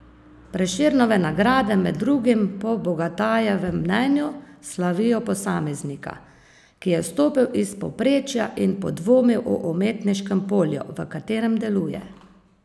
Prešernove nagrade med drugim po Bogatajevem mnenju slavijo posameznika, ki je stopil iz povprečja in podvomil o umetniškem polju, v katerem deluje.